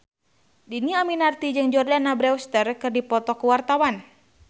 Dhini Aminarti jeung Jordana Brewster keur dipoto ku wartawan